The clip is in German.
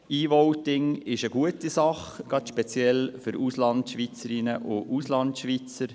E-Voting ist eine gute Sache, insbesondere für Auslandschweizerinnen und Auslandschweizer.